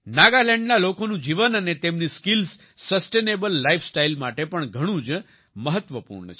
નાગાલેન્ડના લોકોનું જીવન અને તેમની સ્કિલ્સ સસ્ટેનેબલ લાઇફ સ્ટાઇલ માટે પણ ઘણું જ મહત્વપૂર્ણ છે